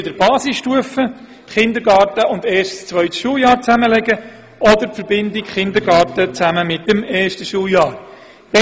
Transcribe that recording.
Entweder führen sie eine Basisstufe, in welcher der Kindergarten mit dem ersten und zweiten Schuljahr zusammengelegt wird, oder einen Kindergarten in Verbindung mit dem ersten Schuljahr.